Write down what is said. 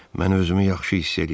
Mən özümü yaxşı hiss eləyirəm.